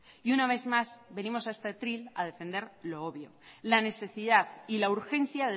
y una vez más venimos a este atril a defender lo obvio la necesidad y la urgencia